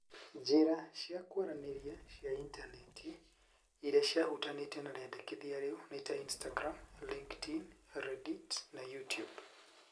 Njĩra cia kwaranĩria cia initaneti irĩa ciahutanĩtie na rĩendekithia rĩu nĩ ta Instagram, LinkedIn, Reddit na YouTube.